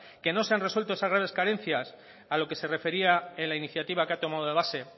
que no se han resuelto esas graves carencias a lo que se refería en la iniciativa que ha tomado de base